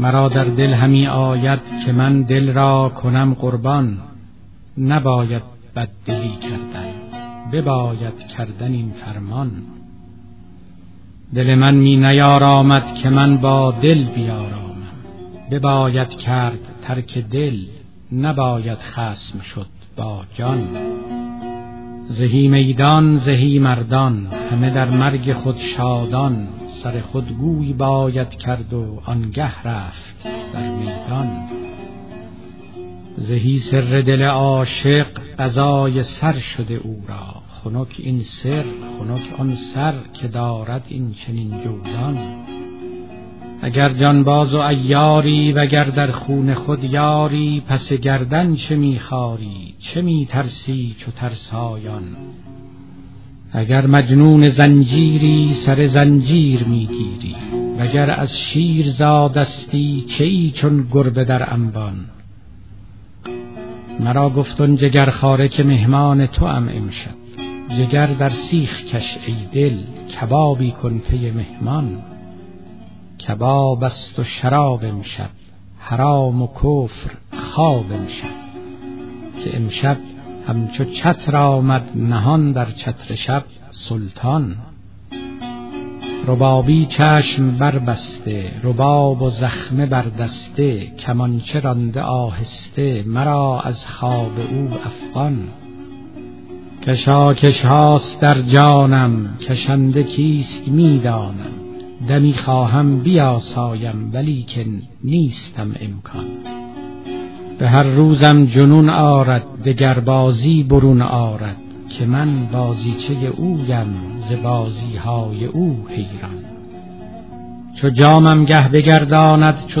مرا در دل همی آید که من دل را کنم قربان نباید بددلی کردن بباید کردن این فرمان دل من می نیارامد که من با دل بیارامم بباید کرد ترک دل نباید خصم شد با جان زهی میدان زهی مردان همه در مرگ خود شادان سر خود گوی باید کرد وانگه رفت در میدان زهی سر دل عاشق قضای سر شده او را خنک این سر خنک آن سر که دارد این چنین جولان اگر جانباز و عیاری وگر در خون خود یاری پس گردن چه می خاری چه می ترسی چو ترسایان اگر مجنون زنجیری سر زنجیر می گیری وگر از شیر زادستی چه ای چون گربه در انبان مرا گفت آن جگرخواره که مهمان توام امشب جگر در سیخ کش ای دل کبابی کن پی مهمان کباب است و شراب امشب حرام و کفر خواب امشب که امشب همچو چتر آمد نهان در چتر شب سلطان ربابی چشم بربسته رباب و زخمه بر دسته کمانچه رانده آهسته مرا از خواب او افغان کشاکش هاست در جانم کشنده کیست می دانم دمی خواهم بیاسایم ولیکن نیستم امکان به هر روزم جنون آرد دگر بازی برون آرد که من بازیچه اویم ز بازی های او حیران چو جامم گه بگرداند چو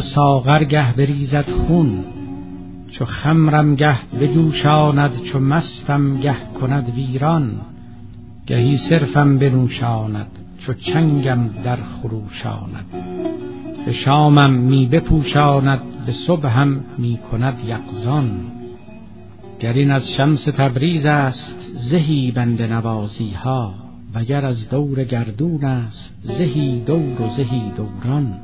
ساغر گه بریزد خون چو خمرم گه بجوشاند چو مستم گه کند ویران گهی صرفم بنوشاند چو چنگم درخروشاند به شامم می بپوشاند به صبحم می کند یقظان گر این از شمس تبریز است زهی بنده نوازی ها وگر از دور گردون است زهی دور و زهی دوران